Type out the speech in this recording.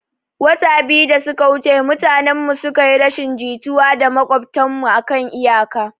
Wata biyu da suka wuce mutanen mu suka yi rashin jituwa da maƙwabtan mu akan iyaka